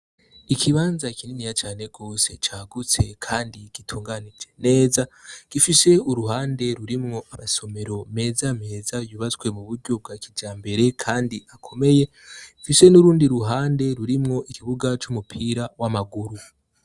Ikibanza kininiya cane gose cagutse kandi gitunganije neza gifise uruhande rurimwo amasomero meza meza yubatswe mu buryo bwa kijambere kandi akomeye, gifise n'urundi ruhande rurimwo ikibuga c'umupira w'amaguru.